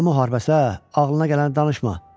Nə müharibəsə ağlına gələn danışma.